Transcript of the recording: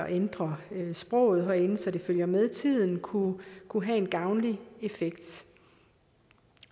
ændre sproget herinde så det følger med tiden kunne kunne have en gavnlig effekt